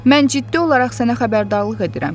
Mən ciddi olaraq sənə xəbərdarlıq edirəm.